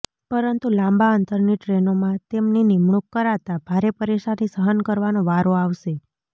પરંતુ લાંબા અંતરની ટ્રેનોમાં તેમની નિમણૂક કરાતા ભારે પરેશાની સહન કરવાનો વારો આવશે